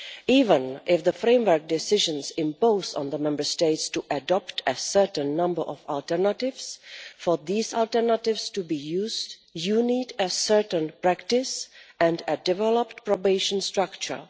Even if the Framework Decisions oblige the Member States to adopt a certain number of alternatives, for these alternatives to be used you need a certain practice and a developed probation structure.